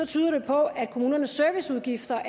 tyder på at kommunernes serviceudgifter